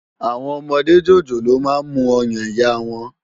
Awòn òmòdé jójólóò mà n mú òyán iyá wán